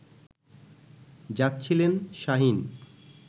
যাচ্ছিলেন শাহীন